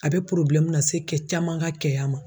A bɛ lase kɛ caman ka kɛya ma.